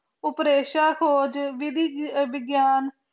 ਉਪਰੇਸ਼ਾ ਖੋਜ ਵਿਧਿ ਵਿਗਿਆਨ